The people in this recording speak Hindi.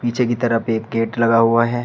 नीचे की तरफ एक गेट लगा हुआ है।